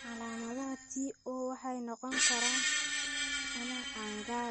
Calaamadaha tracheobronchopathia osteoplastica (TO) waxay noqon karaan kuwo maqan ama aan gaar ahayn.